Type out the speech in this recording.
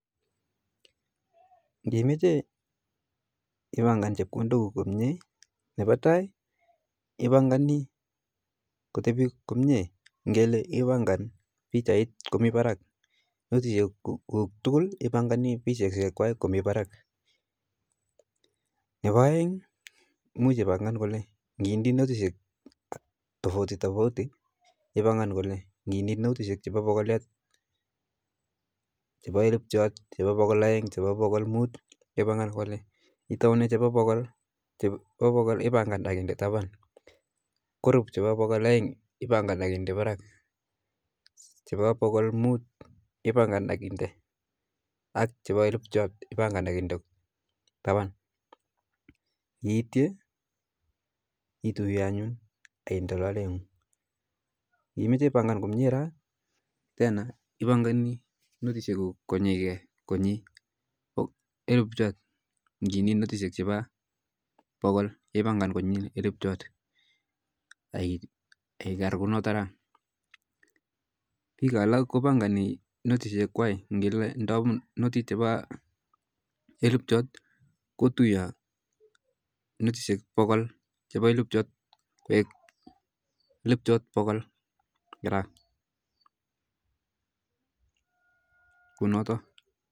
Ngimeche ipanga chepkondok kuk komye, ne paa tai ipanga kotepi komye, kele ipanga pichait komii parak notichek tukul pichait kwai komii parak, nepa aeng ngiindii notichek tofauti tofauti ipangan kole, ngindii notishek chepa pokoliat, chepa elpjot, chepa pokol aeng, chepa pokol mut ipangan kol, itauene chepa pokol, ipangan aikende tapan, korup chepa pokol aeng ipange ak inde parak, chepa pokol mut ipange ak inde parak, chepa elpjot ipange ak indee tapan, kiitye ituye ak indee lolet, kimeche ipanga komye raa tena, ipanga notishek konyike elpjot, ngindii notishek che pa pokol ipangan konyi elpjot ak ikakar kunoto raa, pik alak kupanga notishek kwai ngele ndoi notit chepa elpjot kutuyo notishek pokol che pa elpjot koek elpjot pokol